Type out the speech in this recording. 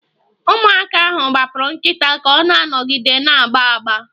Ụmụaka ahụ gbapụrụ nkịta ka ọ na-anọgide na-agba agba